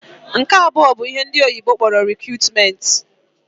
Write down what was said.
Nke abụọ bụ ihe ndị oyibo kpọrọ 'recruitment'.